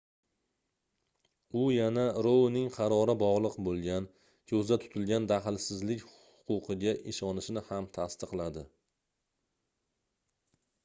u yana rouning qarori bogʻliq boʻlgan koʻzda tutilgan dahlsizlik huquqiga ishonishini ham tasdiqladi